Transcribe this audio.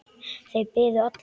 Þeir biðu allir.